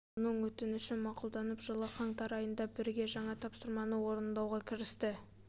оның өтініші мақұлданып жылы қаңтар айында бірге жаңа тапсырманы орындауға кірісті